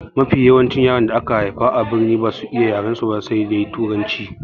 Mafi yawancin yaran da aka haifa a birni basu iya yarensu ba sai dai turanci.